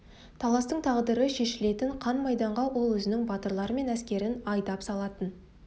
таластың тағдыры шешілетін қан майданға ол өзінің батырлары мен әскерін айдап салатын